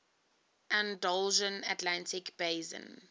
andalusian atlantic basin